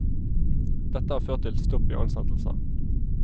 Dette har ført til stopp i ansettelser.